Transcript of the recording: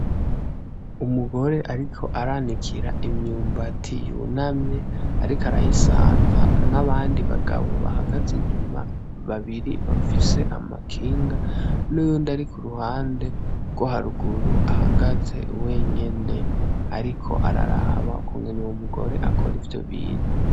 Umugore ariko aranikira imyumbati yunamye ariko arayisanza, n'abandi bagabo bahagaze inyuma babiri bafise amakinga, n'uyundi ari ku ruhande rwo haruguru ahagaze wenyene, ariko araraba ukuntu uyo mugore akora ivyo bintu.